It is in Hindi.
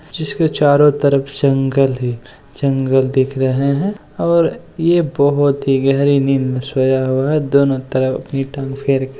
जिसके चारो तरफ जंगल ही जंगल दिख रहे हैं और ये बहुत ही गहरी नींद में सोया हुआ हैं दोनों तरफ अपनी टांग फेरके --